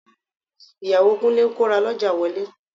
Ìyàwó Kúnlé ń kó rà lọ́jà wọlé